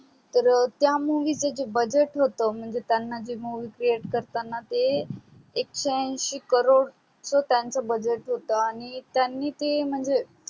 तर त्या movie च जे budget होत म्हणजे त्यांना जे movie create करताना ते एकशे अंशी crore च त्याच budget होत आणि त्यांनी ते म्हणजे